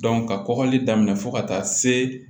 ka kɔgɔli daminɛ fo ka taa se